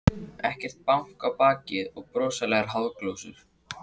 Ekkert bank á bakið og broslegar háðsglósur.